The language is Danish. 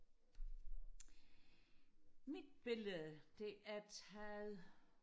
mit billede det er taget